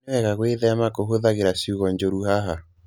Nĩ wega gwĩthema kũhũthĩra ciugo njũru haha.